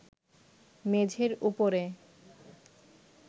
মেঝের উপরে